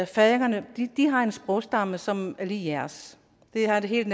færingerne har en sprogstamme som er lig jeres det har en helt